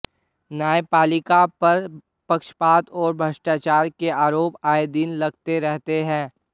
न्यायपालिका पर पक्षपात और भ्रष्टाचार के आरोप आएदिन लगते रहते हैं